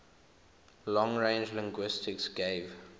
long range linguistics gave